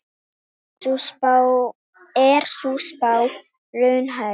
Er sú spá raunhæf?